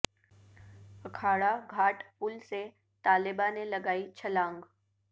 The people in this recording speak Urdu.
اکھا ڑہ گھا ٹ پل سے طالبہ نے لگائی چھلانگ